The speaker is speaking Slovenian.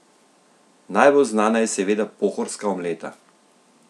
Najbolj znana je seveda pohorska omleta.